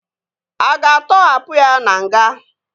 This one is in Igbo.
A ga-atọhapụ ya na nga?